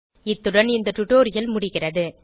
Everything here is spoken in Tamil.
இத்துடன் இந்த டுடோரியல் முடிகிறது